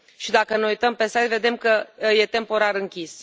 Dacă ne uităm pe site, vedem că e temporar închis.